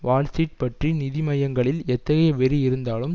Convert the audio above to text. Wall Street பற்றி நிதி மையங்களில் எத்தகைய வெறி இருந்தாலும்